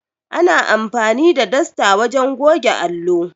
Ana amfani da dasta wajen goge allo.